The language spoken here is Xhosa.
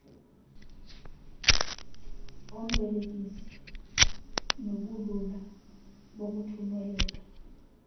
ombelekisi nobulula bokuthumeleka